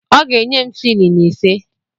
Ọ ga-enye m silin ise.